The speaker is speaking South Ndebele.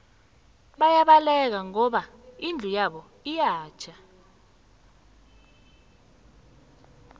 bayabaleka ngoba indlu yabo iyatjha